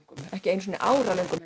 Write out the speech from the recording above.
ekki einu sinni áralöngum